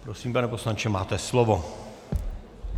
Prosím, pane poslanče, máte slovo.